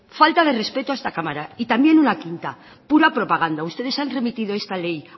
falta de respeto a esta cámara y también una quinta pura propaganda ustedes han remitido esta ley